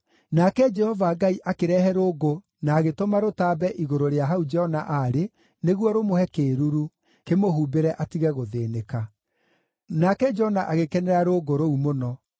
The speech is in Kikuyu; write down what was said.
Nake Jehova Ngai akĩrehe rũũngũ na agĩtũma rũtambe igũrũ rĩa hau Jona aarĩ, nĩguo rũmũhe kĩĩruru, kĩmũhumbĩre atige gũthĩĩnĩka. Nake Jona agĩkenera rũũngũ rũu mũno.